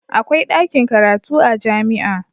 Akwai dakin karatu a jami'a.